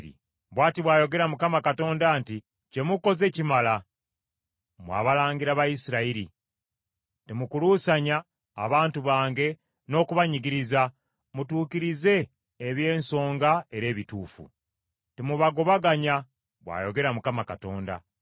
“ ‘Bw’ati bw’ayogera Mukama Katonda nti; Kye mukoze kimala, mmwe abalangira ba Isirayiri! Temukuluusanya abantu bange n’okubanyigiriza, mutuukirize eby’ensonga era ebituufu. Temubagobaganya, bw’ayogera Mukama Katonda.